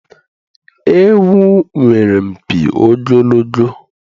Ewu nwere mpi ogologo